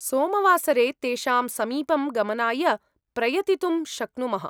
सोमवासरे तेषां समीपं गमनाय प्रयतितुं शक्नुमः।